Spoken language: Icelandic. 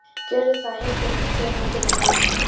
Gerðu það, yndið mitt, segir hann biðjandi.